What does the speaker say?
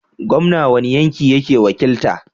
Gomna wani yanki yake wakilta?